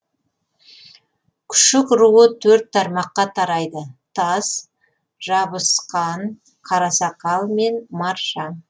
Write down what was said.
күшік руы төрт тармаққа тарайды таз жабысқан қарасақал мен маржан